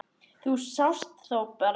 Þú sást þó Bárð?